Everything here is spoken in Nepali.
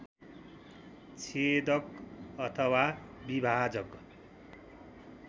छेदक अथवा विभाजक